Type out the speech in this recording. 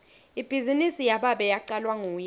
ibhizinisi yababe yacalwa nguye